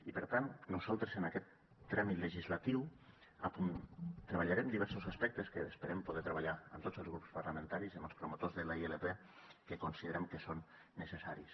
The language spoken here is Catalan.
i per tant nosaltres en aquest tràmit legislatiu treballarem diferents aspectes que esperem poder treballar amb tots els grups parlamentaris i amb els promotors de la ilp que considerem que són necessaris